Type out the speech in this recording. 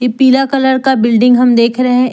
पीला कलर का बिल्डिंग हम देख रहे हैं एक--